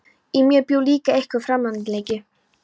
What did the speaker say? Í mér bjó líka einhver framandleiki.